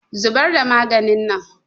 Zubar da maganin nan!